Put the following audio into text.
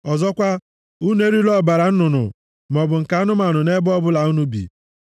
Ọzọkwa, unu erila ọbara nnụnụ maọbụ nke anụmanụ nʼebe ọbụla unu bi. + 7:26 \+xt Jen 9:4\+xt*